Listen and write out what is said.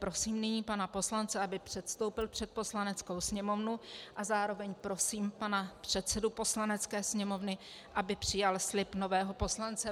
Prosím nyní pana poslance, aby předstoupil před Poslaneckou sněmovnu, a zároveň prosím pana předsedu Poslanecké sněmovny, aby přijal slib nového poslance.